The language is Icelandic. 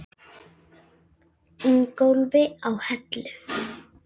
Ingólfi á Hellu.